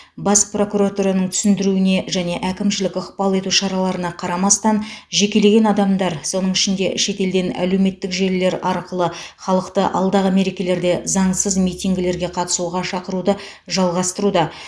бас прокуратураның түсіндіруіне және әкімшілік ықпал ету шараларына қарамастан жекелеген адамдар соның ішінде шетелден әлеуметтік желілер арқылы халықты алдағы мерекелерде заңсыз митингілерге қатысуға шақыруды жалғастыруда